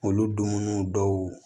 Olu dumuniw dɔw